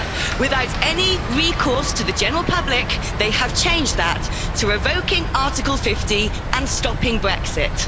Without any recourse to the general public, they have changed that to revoking Article 50 and stopping Brexit.